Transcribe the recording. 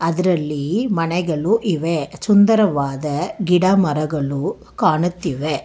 ಇದ್ರಲ್ಲಿ ಮನೆಗಲು ಇವೆ ಚುಂದರವಾದ ಗಿಡ ಮರಗಲು ಕಾಣುತ್ತಿವೆ.